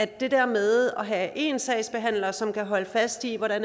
det der med at have én sagsbehandler som kan holde fast i hvad